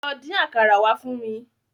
Lọ dín àkàrà wá fún mi.